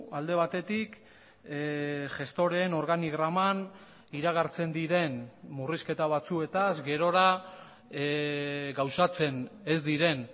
alde batetik gestoreen organigraman iragartzen diren murrizketa batzuetaz gerora gauzatzen ez diren